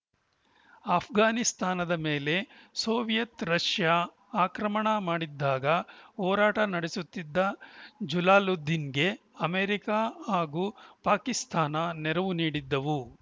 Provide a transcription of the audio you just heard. ಆಷ್ಘಾನಿಸ್ತಾನದ ಮೇಲೆ Soviet Russia ಆಕ್ರಮಣ ಮಾಡಿದ್ದಾಗ ಹೋರಾಟ ನಡೆಸುತ್ತಿದ್ದ ಜಲಾಲುದ್ದೀನ್‌ಗೆ ಅಮೇರಿಕ ಹಾಗೂ ಪಾಕಿಸ್ತಾನ ನೆರವು ನೀಡಿದ್ದವು